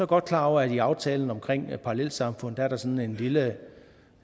godt klar over at der i aftalen omkring parallelsamfund er sådan en lille